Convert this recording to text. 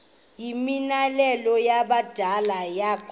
yimianelo yabadala yokaba